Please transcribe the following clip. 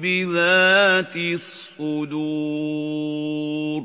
بِذَاتِ الصُّدُورِ